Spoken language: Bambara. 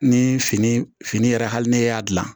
Ni fini fini yɛrɛ hali ni ne y'a dilan